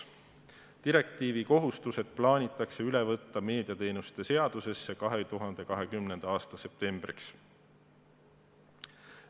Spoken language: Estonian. Direktiivi kohustused plaanitakse üle võtta meediateenuste seadusesse 2020. aasta septembriks.